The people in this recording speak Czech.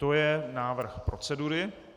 To je návrh procedury.